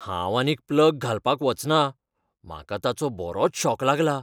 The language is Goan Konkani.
हांव आनीक प्लग घालपाक वचना, म्हाका ताचो बरोच शॉक लागलां.